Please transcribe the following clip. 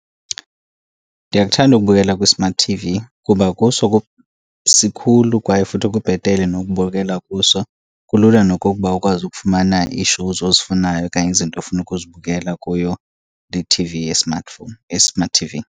Ndiyakuthanda ukubukela kwi-smart T_V kuba kuso sikhulu kwaye futhi kubhetele nokubukela kuso. Kulula nokokuba ukwazi ukufumana ii-shows ozifunayo okanye izinto ofuna ukuzibukela kuyo iT_V ye-smartphone, ye-smart T_V.